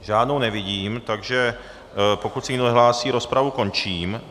Žádnou nevidím, takže pokud se nikdo nehlásí, rozpravu končím.